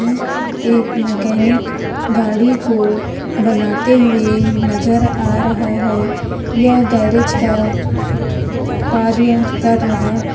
एक मेकेनिक गाड़ी को बनाते हुए नज़र आ रहा यह गैरिज का कार्य कर रहा है।